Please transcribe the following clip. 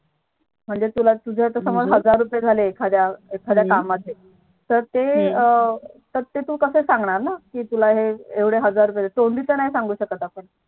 म्हणजे तुला तुझ्या समझ कामाचे हजार रुपये झाले एखाद्या कामाचे तर ते तू कस सांगणार ना कि हे एवढे हजार झाले तोंडी तर नाही सांगू शकत आपण